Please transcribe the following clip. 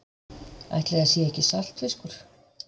Ætli það sé ekki saltfiskur.